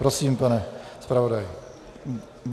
Prosím, pane zpravodaji.